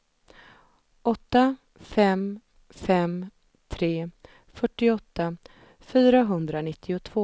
åtta fem fem tre fyrtioåtta fyrahundranittiotvå